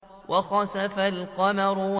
وَخَسَفَ الْقَمَرُ